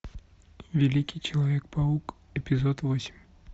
великий человек паук эпизод восемь